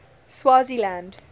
swaziland